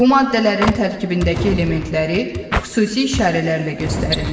Bu maddələrin tərkibindəki elementləri xüsusi işarələrlə göstərirlər.